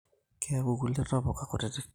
Keeku nkulie ntapuka kutitik